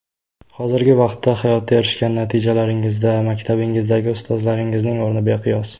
Hozirgi vaqtda hayotda erishgan natijalaringizda maktabingizdagi ustozlaringizning o‘rni beqiyos.